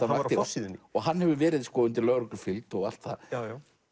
hann var á forsíðunni hann hefur verið undir lögreglufylgd og allt það